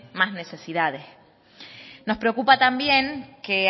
más necesidades nos preocupa también que